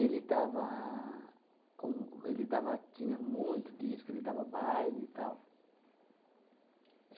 dava um... Ele dava, tinha muito disco, ele dava baile e tal.